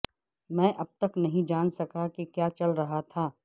میں اب تک نہیں جان سکا کہ کیا چل رہا تھا